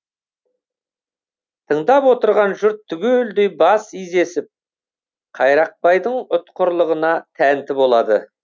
тыңдап отырған жұрт түгелдей бас изесіп қайрақбайдың ұтқырлығына тәнті болады